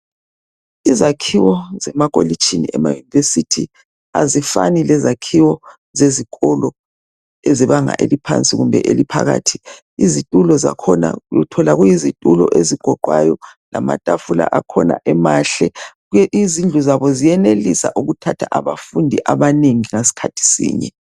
Izakhiwo zemakolitshini ema university azifani lezakhiwo zezikolo ezebanga eliphasi kumbe eliphakathi. Izitulo zakhona uthola kuyizitulo ezigoqwayo lamatafula akhona emahle. Izindlu zabo ziyenelisa ukuthatha abafundi abanengi ngesikhathi sinye.